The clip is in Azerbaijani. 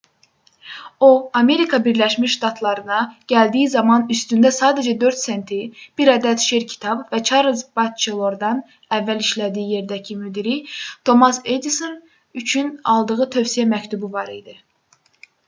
o amerika birləşmiş ştatlarına gəldiyi zaman üstündə sadəcə 4 senti bir ədəd şer kitabı və çarlz batçelordan əvvəl işlədiyi yerdəki müdiri tomas edison üçün aldığı tövsiyə məktubu var idi